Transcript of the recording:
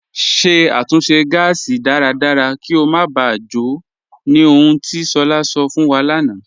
Ṣẹ̀ àtúnṣe gásì dáradára kí o má bá jò, ní ọ̀hùn ti Shola sọ̀ fún wa lánà.